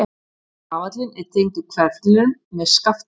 Rafallinn er tengdur hverflinum með skafti.